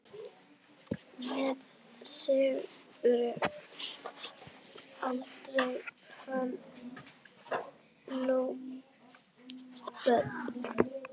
Með Sigríði átti hann níu börn.